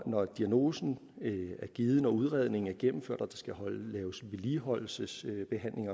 når diagnosen er givet når udredningen er gennemført og der skal laves vedligeholdelsesbehandling